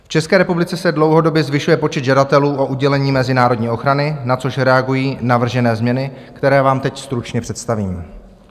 V České republice se dlouhodobě zvyšuje počet žadatelů o udělení mezinárodní ochrany, na což reagují navržené změny, které vám teď stručně představím.